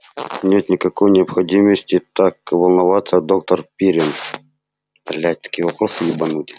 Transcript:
нет никакой необходимости так волноваться доктор пиренн